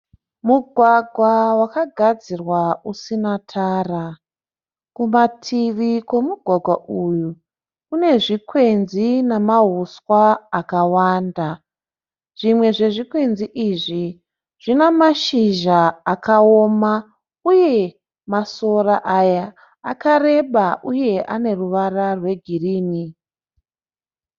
Mugwagwa vakagadzirwa usina Tara. Kumativi kwemugwagwa uyu kune zvikwenzi nemahuswa akawanda. Zvimwe zve zvikwenzi izvi zvine mashizha akaoma uye masora Aya akareba uye ane ruvara rwegirini